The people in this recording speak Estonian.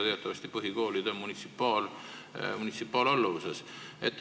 Teatavasti on põhikoolid munitsipaalalluvuses.